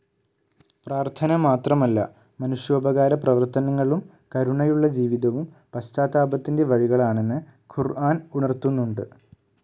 പ്രാർത്ഥന മാത്രമല്ല, മനുഷ്യോപകാര പ്രവർത്തനങ്ങളും കരുണയുള്ള ജീവിതവും പശ്ചാത്താപത്തിൻ്റെ വഴികളാണെന്ന് ഖുർആൻ ഉണർത്തുന്നുണ്ട്.